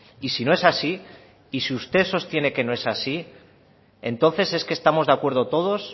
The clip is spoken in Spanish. y si no es así y si usted sostiene que no es así entonces es que estamos de acuerdo todos